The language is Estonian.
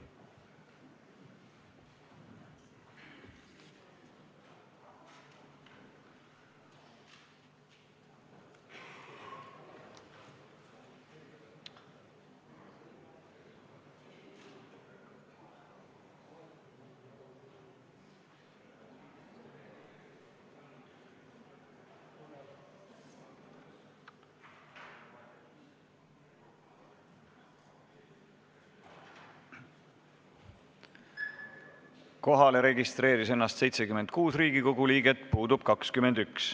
Kohaloleku kontroll Kohalolijaks registreeris ennast 76 Riigikogu liiget, puudub 21.